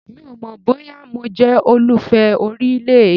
Mi ò mọ̀ bóyá mo jẹ́ olùfẹ orílẹ̀-èdè.